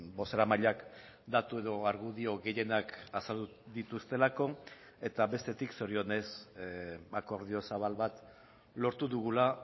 bozeramaileak datu edo argudio gehienak azaldu dituztelako eta bestetik zorionez akordio zabal bat lortu dugula